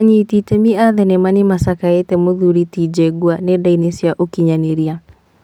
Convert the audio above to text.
Anyiti itemi a thenema, nĩmacakaĩte mũthuri ti Jengua nenda-inĩ cia ũkinyanĩria